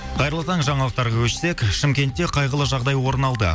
қайырлы таң жаңалықтарға көшсек шымкентте қайғылы жағдай орын алды